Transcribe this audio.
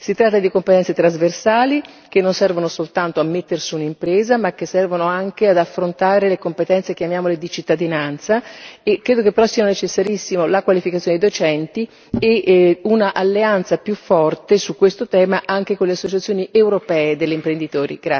Si tratta di competenze trasversali, che non servono soltanto a metter su un'impresa, ma che servono anche ad affrontare le competenze chiamiamole di cittadinanza e credo che però sia necessarissima la qualificazione dei docenti e una alleanza più forte su questo tema, anche con le associazioni europee degli imprenditori.